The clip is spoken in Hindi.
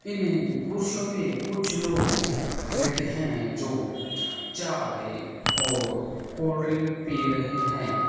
इन कुर्सियों पे कुछ लोग बैठे हैं जो चाय और कोल्ड ड्रिंक पी रहे हैं।